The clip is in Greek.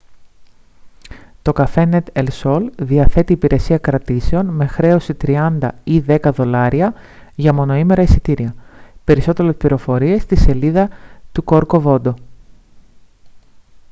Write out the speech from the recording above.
το cafenet el sol διαθέτει υπηρεσία κρατήσεων με χρέωση 30 $ ή 10 $ για μονοήμερα εισιτήρια. περισσότερες πληροφορίες στη σελίδα του corcovodo